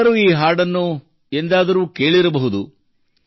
ನೀವೆಲ್ಲರೂ ಈ ಹಾಡನ್ನು ಎಂದಾದರೂ ಕೇಳಿರಬಹುದು